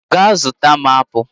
Gaa zụta m apụl!